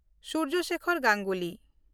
Surya Sekhar Ganguly